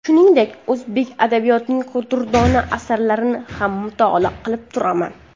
Shuningdek, o‘zbek adabiyotining durdona asarlarini ham mutolaa qilib turaman.